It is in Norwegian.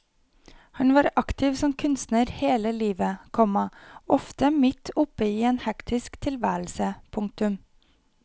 Han var aktiv som kunstner hele livet, komma ofte midt oppe i en hektisk tilværelse. punktum